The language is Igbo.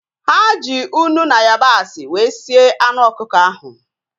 Ha ji unu na yabasị wee sie anụ ọkụkọ ahu